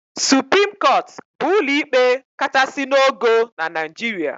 Supreme Court bụ ụlọ ikpe kachasị n'ogo na Naijiria.